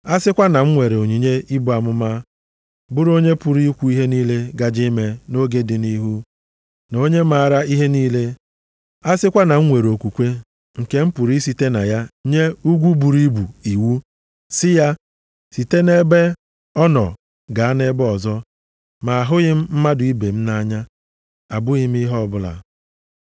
A sịkwa na m nwere onyinye ibu amụma, bụrụ onye pụrụ ikwu ihe niile gaje ime nʼoge dị nʼihu, na onye maara ihe niile, a sịkwa na m nwere okwukwe nke m pụrụ isite na ya nye ugwu buru ibu iwu sị ya site nʼebe ọ nọ gaa nʼebe ọzọ, ma ahụghị m mmadụ ibe m nʼanya, abụghị m ihe ọbụla.